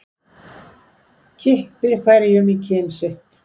Kippir hverjum í kyn sitt.